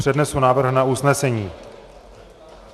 Přednesu návrh na usnesení.